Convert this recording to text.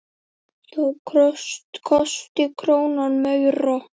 Þá kosti krónan meira.